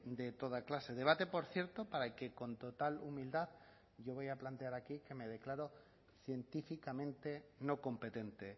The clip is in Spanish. de toda clase debate por cierto para que con total humildad yo voy a plantear aquí que me declaro científicamente no competente